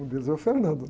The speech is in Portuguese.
Um deles é o.